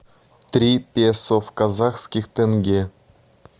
три песо в казахских тенге